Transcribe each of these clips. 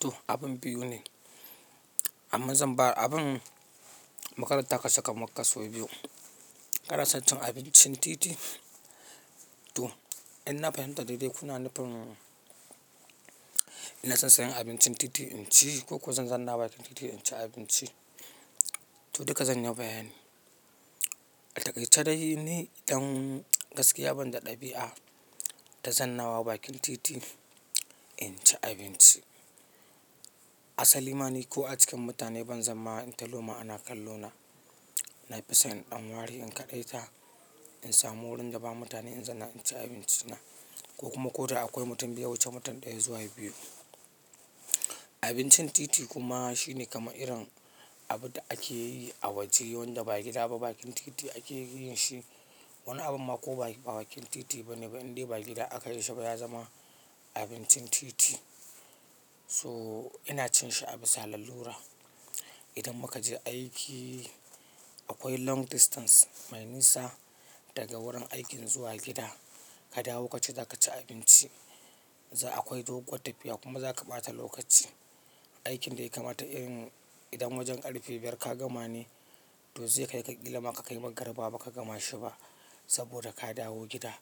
To abin biyu ne amma zan ba abin makarata ka saka maka sau biyu. Kanason cin abincin titi to ina fahimta daidai kuna nufin ina son sayan abincin titi in ci ko ko zan zanna bakin titi in ci abinci. To duka zan yi bayani. Ataƙaice dai ni idan gaskiya ban da ɗabi'a ta zannawa bakin titi in ci abinci. Asali ma ni ko a cikin mutane ban zama in taloma ana kallo na. Na fi son in ɗan ware in kaɗaita in samu wurin da ba mutane in zanna in ci abinci na ko kuma ko da akwai mutum bai wuce mutum ɗaya zuwa biyu. Abincin titi kuma shine kaman irin abu da ake yi a waje wanda ba gida ba bakin titi ake yin shi. Wani abu ma ko ba bakin titi ba ne ba inda gida aka yi shi ba ya zama abincin titi. So ina cin shi a bisa lalura. Idan muka je aiki akwai long distance mai nisa daga wurin aikin zuwa gida. Ka dawo kace za ka ci abinci za akwai doguwar tafiya kuma za ka ɓata lokaci. Aikin da ya kamata in idan wajen ƙarfe biyar ka gama ne to zai kai ka ƙila ma ka kai magaribaba ka gama shi ba saboda ka dawo gida.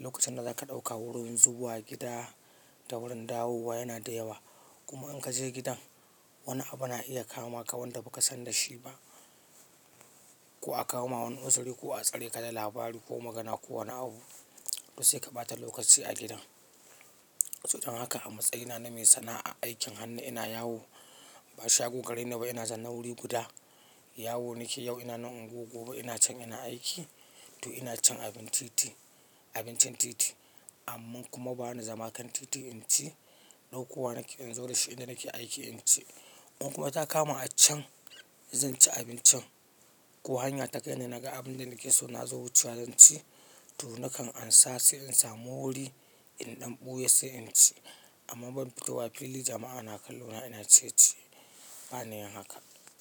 Lokacin da za ka ɗauka wurin zuwa gida da wurin dawowa yana da yawa kuma in ka je gidan wani abu na iya kama ka wanda ba ka san da shi ba. Ko a kawoma wani uzuri ko a tsare ka da labari ko magana ko wani abu to sai ka ɓata lokaci a gida. Sodan haka a matsayina na mai sana'a aikin hannu ina yawo ba shago gare ni ba ina zanna wuri guda. Yawo nake yau ina na unguwar gobe ina can ina aiki to ina cin abin titi abincin titi. Amma kuma ba na zama kan titi in ci ɗauko wa nake in zo da shi inda nake aiki in ci. In kuma ta kama a can zan ci abincin ko hanya ta kai ni na ga abin da nake so na zo wucewa zan ci to nakan ansa sai in samu wuri in ɗan ɓuya sai in ci. Amma ban fito wa fili jama'a na kallo na ina ciyeciye ba na yin haka.